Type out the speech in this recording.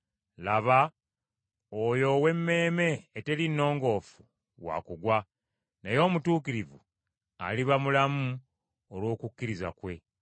“Laba oyo ow’emmeeme eteri nnongoofu wa kugwa, naye omutuukirivu aliba mulamu olw’obwesigwa bwe.”